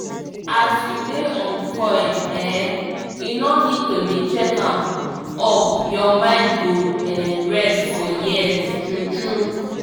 as u dey on coil um e no need to dey check am up ur mind go um rest for years true true